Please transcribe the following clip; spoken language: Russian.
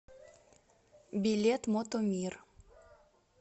билет мото мир